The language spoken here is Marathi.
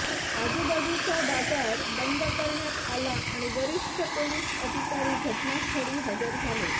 आजूबाजूचा बाजार बंद करण्यात आला आणि वरिष्ठ पोलीस अधिकारी घटनास्थळी हजर झाले